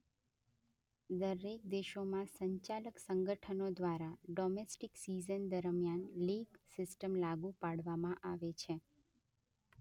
દરેક દેશોમાં સંચાલક સંગઠનો દ્વારા ડોમેસ્ટિક સિઝન દરમિયાન લીગ સિસ્ટમ લાગુ પાડવામાં આવે છે